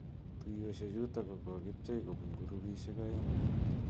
Tuyoshek chutok ko kokibche kobun kurubishek a'eng.